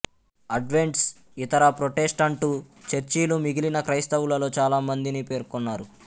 అడ్వెంట్సు ఇతర ప్రొటెస్టంటు చర్చిలు మిగిలిన క్రైస్తవులలో చాలామందిని పేర్కొన్నారు